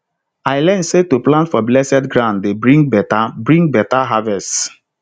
i learn say to plant for blessed ground dey bring better bring better harvest